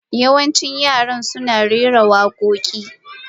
Yawancin Yara suna son rera waƙoƙi.